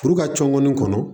Furu ka cɔngɔni kɔnɔ